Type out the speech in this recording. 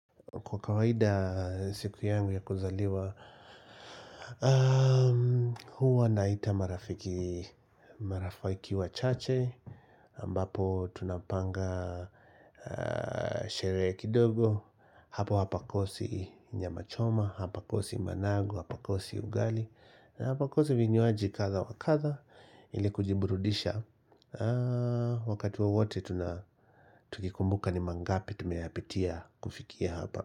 Kwa kawaida siku yangu ya kuzaliwa, huwa naita marafiki wachache, ambapo tunapanga sherehe kidogo, hapa hapakosi nyama choma, hapakosi managu, hapakosi ugali, hapakosi vinywaji kadha wa kadha, ili kujiburudisha. Wakati wowote, tukikumbuka ni mangapi tumepitia kufikia hapa.